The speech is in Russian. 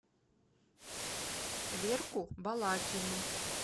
верку балакину